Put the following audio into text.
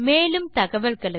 மேலும் தகவல்களுக்கு